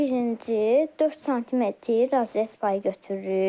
Birinci 4 sm raz payı götürürük.